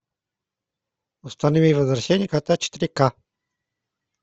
установи возвращение кота четыре ка